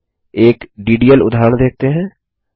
आगे एक डीडीएल उदाहरण देखते हैं